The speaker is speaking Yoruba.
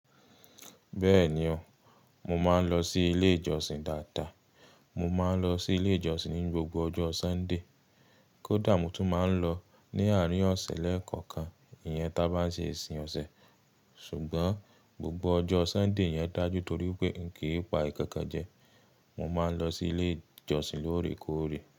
Bẹ́ẹ̀ni o, mo máa ń lọ sí ilé ìjọsìn dáadáa. Mo máa ń lọ sí ilé ìjọsìn ní gbogbo ọjọ́ Sunday. Kódà mo tún máa ń lọ ní àárín ọ̀sẹ̀ lẹ́ẹ̀kọ̀kan, ìyẹn tá bá n se isiń ọ̀sẹ̀. Ṣùgbọ́n gbogbo ọjọ́ Sunday yẹn dájú torí pé n kí pa ìkankan jẹ, mo máa ń lọ sí ilé ìjọsìn lóòrèkóòrè.